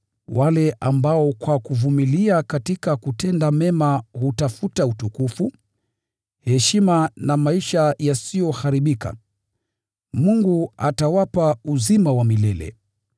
Wale ambao kwa kuvumilia katika kutenda mema hutafuta utukufu, heshima na maisha yasiyoharibika, Mungu atawapa uzima wa milele.